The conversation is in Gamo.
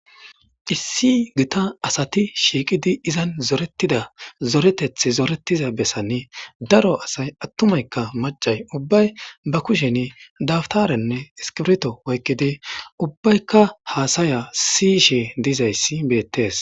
Issi gitta asati shiiqidi izan zoretida zoreteththi zoretiza bessani daro asay attumaykka macay ubbay ba kushen daftarenne iskirito oykkidi ubbaykka haasaya siyishshe dizayssi beettees